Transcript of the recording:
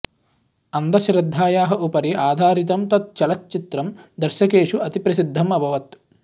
अन्धश्रद्धायाः उपरि आधिरतं तत् चलच्चित्रं दर्शकेषु अतिप्रसिद्धम् अभवत्